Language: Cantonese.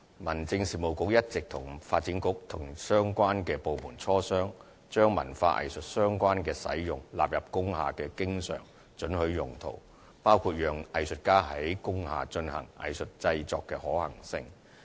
民政事務局一直與發展局及各相關部門磋商，將與文化藝術相關的用途納入為工廈的經常准許用途，包括讓藝術家在工廈進行藝術製作的可行性。